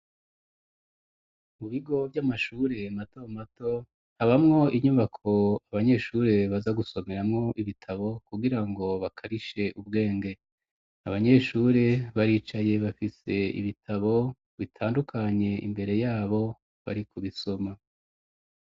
Mu bigo vy'amashure mato mato habamwo inyubako abanyeshuri baza gusomeramwo ibitabo kugirango bakarishe ubwenge abanyeshuri baricaye bafise ibitabo bitandukanye imbere yabo bari kubisoma